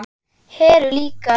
Heru líka.